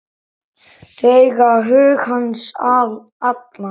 Þau eiga hug hans allan.